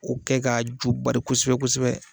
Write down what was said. K'o kɛ ka jubari kosɛbɛ kosɛbɛ